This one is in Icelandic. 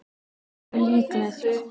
Hversu líklegt?